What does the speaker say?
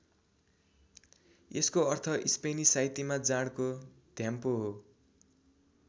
यसको अर्थ स्पेनी साहित्यमा जाँडको घ्याम्पो हो।